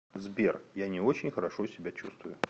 сбер я не очень хорошо себя чувствую